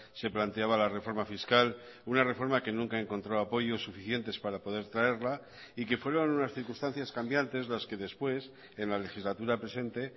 se planteaba la reforma fiscal una reforma que nunca encontró apoyos suficientes para poder traerla y que fueron unas circunstancias cambiantes las que después en la legislatura presente